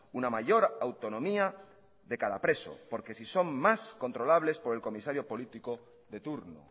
una mayor autonomía de cada preso porque si son más controlables por el comisarios político de turno